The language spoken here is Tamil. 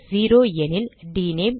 0 எனில் டினேம்